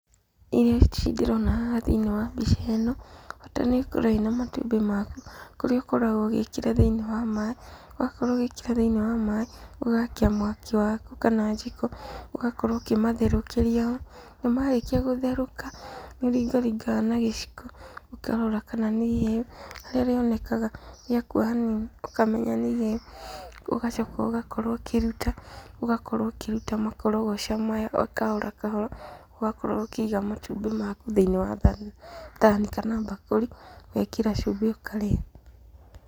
Irio ici ndĩrona haha thĩinĩ wa mbica ĩno, bata nĩ ũkorwo wĩna matumbĩ maku, kũrĩa ũkoragwo ũgĩkĩra thĩinĩ wa maaĩ, wakorwo ũgĩkĩra thĩinĩ wa maaĩ, ũgakia mwaki waku kana jiko ũgakorwo ũkĩmatherũkĩria ho. Na marĩkia gũtherũka nĩ ũringaringaga na gĩciko, ũkarora kana nĩ iheu harĩa rĩonekaga rĩakua hanini ũkamenya atĩ nĩihĩu. Ũgacoka ũgakorwo ũkĩrĩruta, ũgakorwo ũkĩruta makorogoca maya o kahora o kahora, ũgakorwo ũkĩiga matumbĩ maku thĩinĩ wa thani kana mbakũri, ũgekĩra cumbĩ ũkarĩa.